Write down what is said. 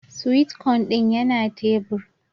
"Sweet corn" din yana tebur.